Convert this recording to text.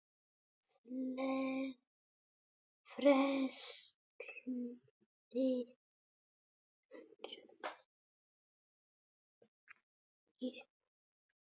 Frelsi jókst í Kína.